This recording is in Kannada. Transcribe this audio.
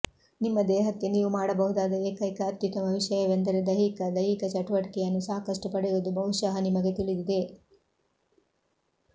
ನಿಮ್ಮ ದೇಹಕ್ಕೆ ನೀವು ಮಾಡಬಹುದಾದ ಏಕೈಕ ಅತ್ಯುತ್ತಮ ವಿಷಯವೆಂದರೆ ದೈಹಿಕ ದೈಹಿಕ ಚಟುವಟಿಕೆಯನ್ನು ಸಾಕಷ್ಟು ಪಡೆಯುವುದು ಬಹುಶಃ ನಿಮಗೆ ತಿಳಿದಿದೆ